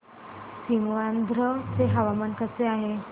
सीमांध्र चे हवामान कसे आहे